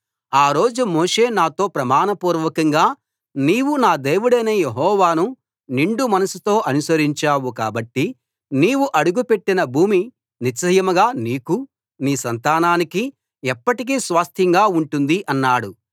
ఆ రోజు మోషే నాతో ప్రమాణపూర్వకంగా నీవు నా దేవుడైన యెహోవాను నిండు మనస్సుతో అనుసరించావు కాబట్టి నీవు అడుగుపెట్టిన భూమి నిశ్చయంగా నీకూ నీ సంతానానికీ ఎప్పటికీ స్వాస్థ్యంగా ఉంటుంది అన్నాడు